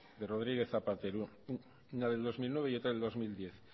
de rodríguez zapatero una del dos mil nueve y otra del dos mil diez